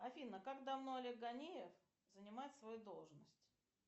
афина как давно олег ганиев занимает свою должность